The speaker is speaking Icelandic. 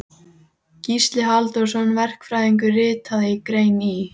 Kynni takast þessi misseri innvirðuleg með þeim skáldbræðrum.